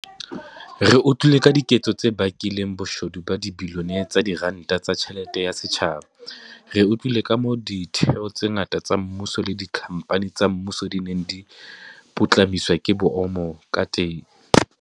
Re utlwile ka diketso tse bakileng boshodu ba dibilione tsa diranta tsa tjhelete ya setjhaba. Re utlwile kamoo ditheo tse ngata tsa mmuso le dikhamphani tsa mmuso di neng di putlamiswa ka boomo kateng.